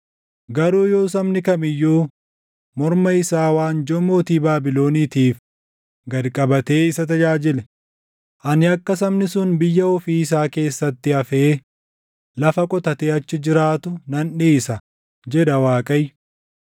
Garuu yoo sabni kam iyyuu morma isaa waanjoo mootii Baabiloniitiif gad qabatee isa tajaajile, ani akka sabni sun biyya ofii isaa keessatti hafee lafa qotatee achi jiraatu nan dhiisa, jedha Waaqayyo.” ’”